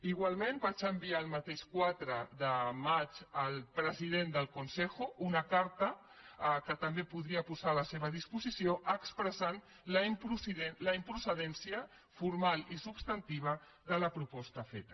igualment vaig enviar el mateix quatre de maig al president del consejo una carta que també podria posar a la seva disposició en què expressava la improcedència formal i substantiva de la proposta feta